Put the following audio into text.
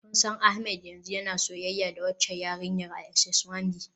Kun san Ahmed yanzu yana soyayya da waccan yarinyar a SS One B?